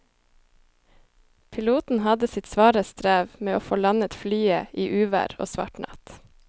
Piloten hadde sitt svare strev med å få landet flyet i uvær og svart natt.